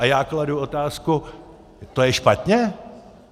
A já kladu otázku - to je špatně?